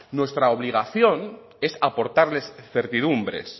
nuestra obligación es aportarles certidumbres